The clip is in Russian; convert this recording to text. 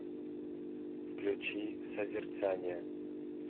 включи созерцание